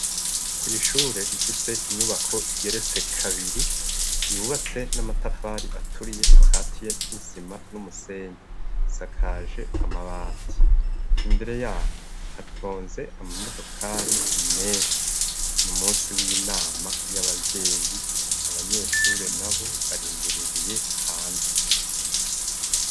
Kw'ishure rifise inyubako igeretse kabiri yubatse n'amatafari aturiye akatiye n'isima n'umusenyi, isakaje amabati, imbere yaho hatonze amamodokari menshi, n'umusi w'inama y'abavyeyi, abanyeshure nabo barindiririye hanze.